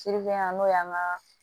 Sirige yan n'o y'an ka